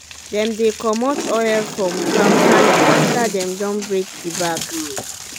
dem dey comot oil from palm kernel after dem don break the back